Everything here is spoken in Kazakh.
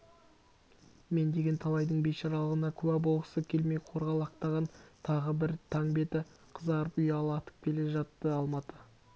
мен деген талайдың бейшаралығына куә болғысы келмей қорғалақтаған тағы бір таң беті қызарып ұяла атып келе жатты алматы